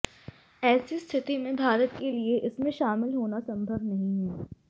ऐसी स्थिति में भारत के लिए इसमें शामिल होना संभव नहीं है